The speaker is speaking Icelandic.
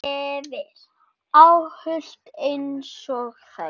Óhult einsog þær.